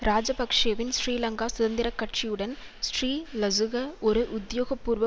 இராஜபக்ஷவின் ஸ்ரீலங்கா சுதந்திர கட்சியுடன் ஸ்ரீலசுக ஒரு உத்தியோகபூர்வ